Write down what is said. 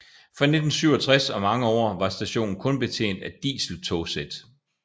Fra 1967 og mange år var stationen kun betjent af dieseltogsæt